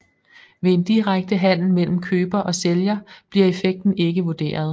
Ved en direkte handel mellem køber og sælger bliver effekten ikke vurderet